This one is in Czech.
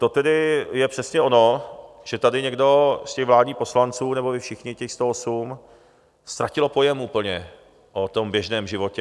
To tedy je přesně ono, že tady někdo z těch vládních poslanců, nebo vy všichni, těch 108 ztratilo pojem úplně o tom běžném životě.